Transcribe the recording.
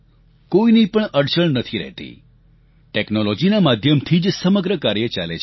કોઈની પણ અડચણ નથી રહેતી ટેકનોલોજીના માધ્યમથી જ સમગ્ર કાર્ય ચાલે છે